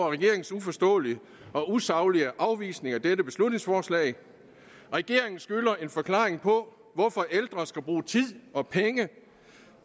regeringens uforståelige og usaglige afvisning af dette beslutningsforslag regeringen skylder en forklaring på hvorfor ældre skal bruge tid og penge